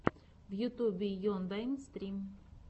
в ютьюбе ендайм стрим